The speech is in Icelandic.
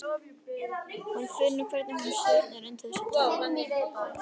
Hún finnur hvernig hún svitnar undir þessu tali.